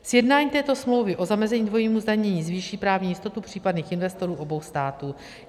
Sjednání této smlouvy o zamezení dvojímu zdanění zvýší právní jistotu případných investorů obou států.